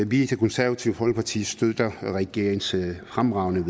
vi i det konservative folkeparti støtter regeringens fremragende